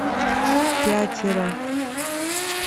пятеро